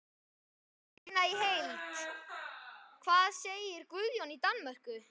Sjá fréttina í heild: Hvað segir Guðjón í Danmörku?